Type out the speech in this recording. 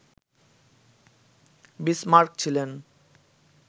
Bismarck ছিলেন